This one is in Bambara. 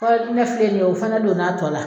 ne filɛ nin ye o fana don na a tɔ la.